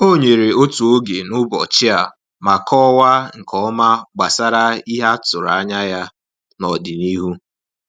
O nyere otu oge n’ụbọchị a ma kọwaa nke ọma gbasara ihe a tụrụ anya ya n’ọdịnihu.